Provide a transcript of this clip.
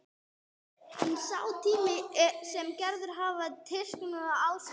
En sá tími sem Gerður hafði til listsköpunar var ásetinn.